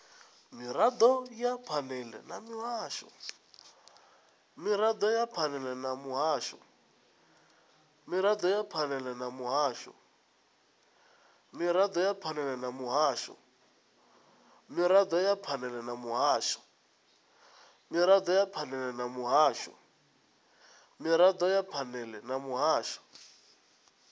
mirado ya phanele na muhasho